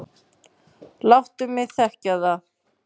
Láttu mig þekkja það.